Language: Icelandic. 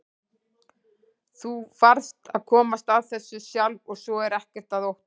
Þú varðst að komast að þessu sjálf og svo er ekkert að óttast.